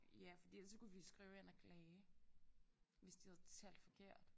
Ja fordi ellers så kunne vi skrive ind og klage hvis de havde talt forkert